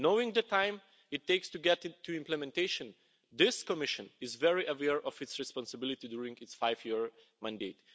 Knowing the time it takes to get to implementation, this Commission is very aware of its responsibility during its five year mandate.